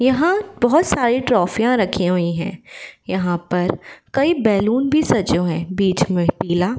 यहाँ बहोत सारी ट्रॉफिया रखी हुई है। यहाँ पर कई बैलून भी सजे हुए है। बीच मे पीला --